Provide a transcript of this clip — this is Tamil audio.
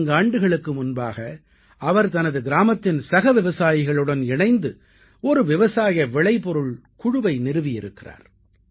நான்கு ஆண்டுகளுக்கு முன்பாக அவர் தனது கிராமத்தின் சக விவசாயிகளுடன் இணைந்து ஒரு விவசாய விளைபொருள் குழுவை நிறுவியிருக்கிறார்